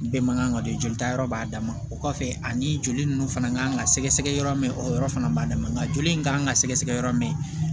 Bɛɛ man kan ka don joli ta yɔrɔ b'a dama o kɔfɛ ani joli ninnu fana ka kan ka sɛgɛ sɛgɛ yɔrɔ min o yɔrɔ fana b'a dama joli in kan ka sɛgɛsɛgɛ yɔrɔ min